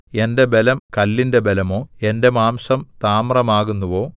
എന്റെ ബലം കല്ലിന്റെ ബലമോ എന്റെ മാംസം താമ്രമാകുന്നുവോ